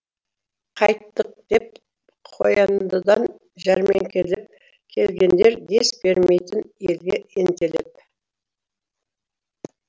қайттық деп қояндыдан жәрмеңкелеп келгендер дес бермейтін елге ентелеп